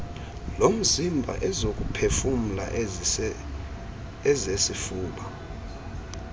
lomzimba ezokuphefumla ezesifuba